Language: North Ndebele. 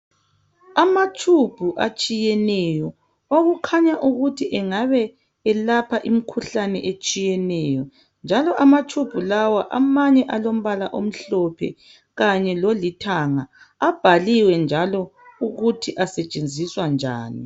amatube atshiyeneyo okukhanya ukuthi engabe elapha imikhuhlane etshiyeneyo njalo ama tube lawa amanye alombala omhlophe kanye lolithanga abhaliwe njalo ukuthi asetshenziswa njani